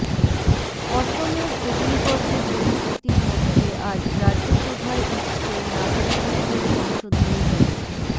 অসমের অগ্নিগর্ভ পরিস্থিতির মধ্যে আজ রাজ্যসভায় উঠছে নাগরিকত্ব সংশোধনী বিল